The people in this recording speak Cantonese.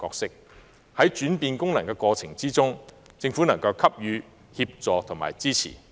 在這轉換過程中，希望政府能夠給予協助和支持。